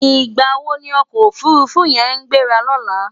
Nigbá wó ni òkò ófúrúfú yèn á gbérá lòlá?